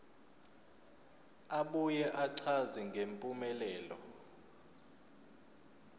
abuye achaze ngempumelelo